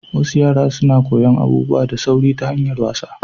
Wassu yara suna koyan abubuwa da sauri ta hanyar wasa.